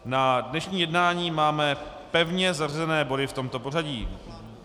Na dnešní jednání máme pevně zařazené body v tomto pořadí.